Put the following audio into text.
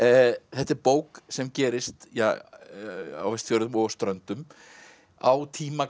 þetta er bók sem gerist á Vestfjörðum og Ströndum á tíma